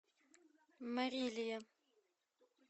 марилия